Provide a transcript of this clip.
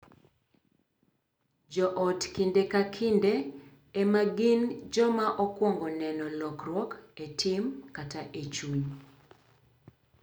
Jo ot kinde ka kinde ema gin joma okwongo neno lokruok e tim kata e chuny,